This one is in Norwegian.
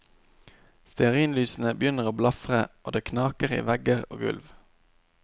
Stearinlysene begynner å blafre og det knaker i vegger og gulv.